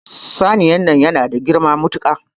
Saniyar nan yana da girma matuka.